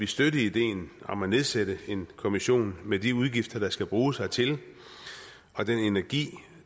støtte ideen om at nedsætte en kommission med de udgifter der skal bruges hertil og den energi